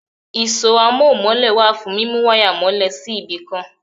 Ìṣọ́ amóhun-mọ́lẹ̀ wà fún mímú wáyà mọ́lè sí ibì kan.